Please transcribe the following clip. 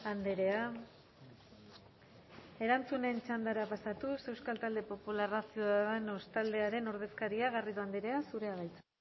andrea erantzunen txandara pasatuz euskal talde popularra ciudadanos taldearen ordezkaria garrido andrea zurea da hitza